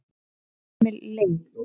Emil Lyng